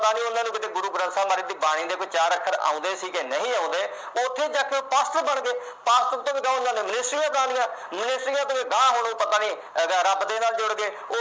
ਪਤਾ ਨੀ ਗੁਰੂ ਗ੍ਰੰਥ ਸਾਹਿਬ ਮਹਾਰਾਜ ਦੀ ਬਾਣੀ ਦੇ ਕੋਈ ਚਾਰ ਅੱਖਰ ਆਉਦੇ ਸੀ ਕਿ ਨਹੀ ਆਉਂਦੇ ਕਿ ਨਹੀਂ ਆਉਦੇ ਉਥੇ ਜਾ ਕੇ ਉਹ ਬਣ ਗਏ ਬਣਾ ਲਈਆਂ minister ਦੇ ਅਗਾਂਹ ਹੁਣ ਪਤਾ ਨਹੀਂ ਅਹ ਰੱਬ ਦੇ ਨਾਲ ਜੁੜ ਗਏ